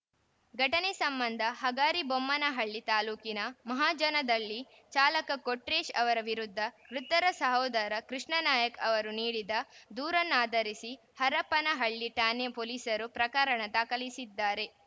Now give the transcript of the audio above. ಘಟನೆ ಸಂಬಂಧ ಹಗರಿಬೊಮ್ಮನಹಳ್ಳಿ ತಾಲೂಕಿನ ಮಹಾಜನದಹಳ್ಳಿ ಚಾಲಕ ಕೊಟ್ರೇಶ್‌ ಅವರ ವಿರುದ್ಧ ಮೃತನ ಸಹೋದರ ಕೃಷ್ಣಾನಾಯ್ಕ ಅವರು ನೀಡಿದ ದೂರನ್ನಾಧರಿಸಿ ಹರಪನಹಳ್ಳಿ ಠಾಣೆ ಪೊಲೀಸರು ಪ್ರಕರಣ ದಾಖಲಿಸಿದ್ದಾರೆ